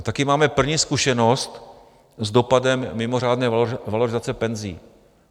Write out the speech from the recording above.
A také máme první zkušenost s dopadem mimořádné valorizace penzí.